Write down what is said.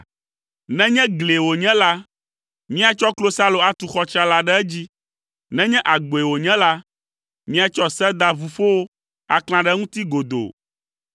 Nenye glie wònye la, míatsɔ klosalo atu xɔ tsrala ɖe edzi. Nenye agboe wònye la, míatsɔ sedaʋuƒowo aklã ɖe eŋuti godoo.